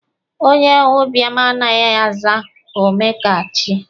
Onyeụbịam anaghị aza "omeọkachie".